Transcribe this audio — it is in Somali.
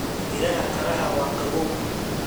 Miraha qaraha waa qabow.